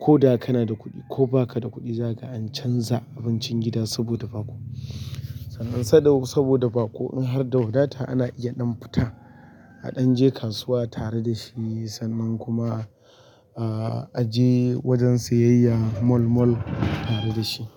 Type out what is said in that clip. Ko da kana da kuɗi ko ba ka da kuɗi za ka an canza abincin gida saboda baƙo. Saboda baƙo in harda wadata ana iya ɗan fita, a ɗan je kasuwa tare dashi sannan kuma aje wajen sayayya moll-moll tare dashi.